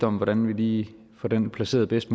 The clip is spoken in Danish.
om hvordan vi lige får det her placeret bedst